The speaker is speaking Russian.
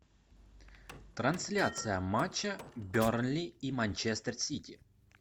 трансляция матча бернли и манчестер сити